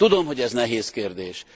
Tudom, hogy ez nehéz kérdés.